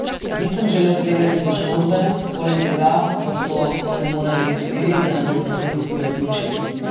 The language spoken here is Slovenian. Nisem želel tvegati poškodbe, poleg tega pa so si morali nekateri zaradi prahu izpirati oči.